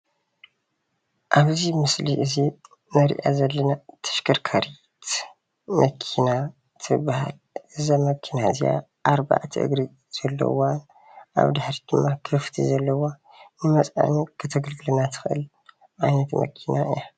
ኣብዚ ምስሊ እዙይ እንሪኣ ዘለና ተሽከርካሪት መኪና ትበሃል ።እዛ መኪና እዚኣ ኣርባዕተ እግሪ ዘለዋ ኣብ ድሕሪት ክፍቲ ዘለዋ ንመፅዐኒ ክተግልግለና ትኽእል ዓይነት መኪና እያ።